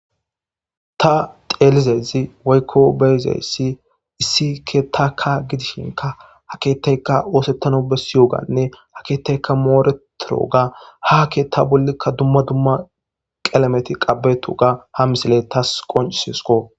ta teelizezi woykko beyzeyssi issike taka gidishinka haketeyka oosettano bessi yoganne akeeteykka mooretoro ga hake ta bollikka dumma dumma qelameti qabeto ga ha misile tas qoncisesko